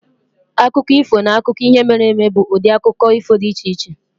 Akụkọ ifo na akụkọ ihe mere eme bụ ụdị akụkọ ifo dị iche-iche.